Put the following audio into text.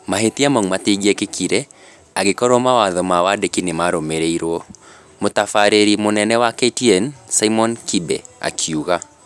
"Mahĩtia mau matingĩekĩkire angĩkorwo mawatho ma wandĩki nĩmarũĩmĩrĩirwo", mũtabarĩri mũnene wa KTN Simon Kibe akiuga